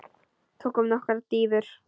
Tökum nokkrar dýfur!